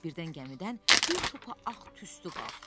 Birdən gəmidən bir topa ağ tüstü qalxdı.